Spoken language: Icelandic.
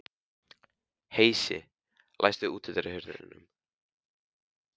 Heisi, læstu útidyrunum.